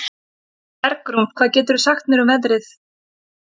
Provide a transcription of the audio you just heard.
Bergrún, hvað geturðu sagt mér um veðrið?